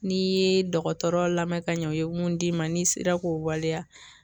N'i yee dɔgɔtɔrɔ lamɛn ka ɲɛ u ye mun d'i ma n'i sera k'o waleya